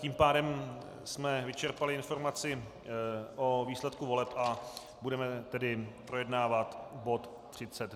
Tím pádem jsme vyčerpali informaci o výsledku voleb a budeme tedy projednávat bod